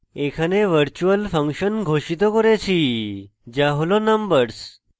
এখানে virtual function ঘোষিত করেছি যা হল numbers